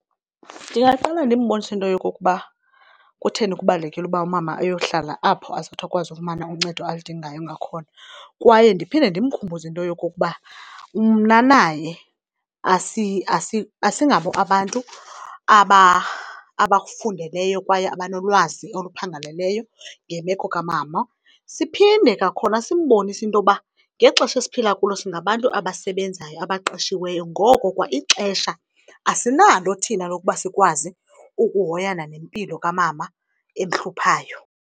Ndingaqale ndimbonise into yokokuba kutheni kubalulekile ukuba umama ayohlala apho azothi akwazi ufumana uncedo aludingayo ngakhona. Kwaye ndiphinde ndimkhumbuze into yokokuba mna naye asingabo abantu abakufundeleyo kwaye abanolwazi oluphangaleleyo ngemeko kamama. Siphinde kwakhona simbonise into yoba ngexesha esiphila kulo singabantu abasebenzayo, abaqeshiweyo, ngoko kwa ixesha asinalo thina lokuba sikwazi ukuhoyana nempilo kamama emhluphayo.